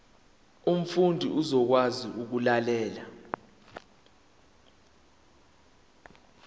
umfundi uzokwazi ukulalela